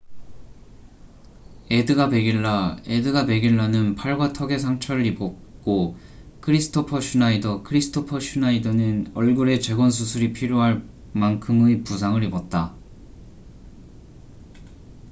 에드가 베길라edgar veguilla는 팔과 턱에 상처를 입었고 크리스토퍼 슈나이더kristoffer schneider는 얼굴에 재건수술이 필요할 만큼의 부상을 입었다